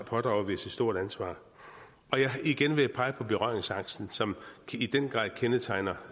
pådrager vi os et stort ansvar igen vil jeg pege på berøringsangsten som i den grad kendetegner